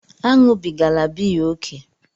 Aṅụbigala biya ókè!